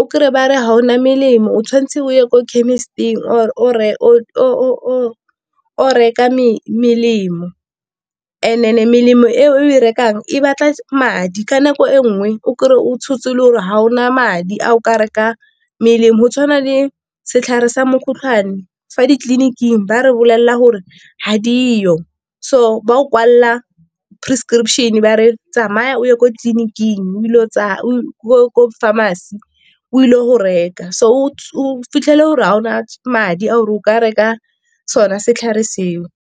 o kry-e ba re ga ona melemo o tshwanetse o ye ko chemist-ing or o reka melemo melemo e o e rekang e batla madi ka nako e nngwe o kry-e o tshotse le gore ga o na madi a o ka reka melemo, go tshwana le setlhare sa mokgotlhwane fa ditleliniking ba re bolelela gore ga dio. So ba o kwalela prescription ba re tsamaya o ye kwa tleliniking, ko pharmacy o ile go reka. So o fitlhele gore Ga ona madi ao o ka reka sona setlhare seo.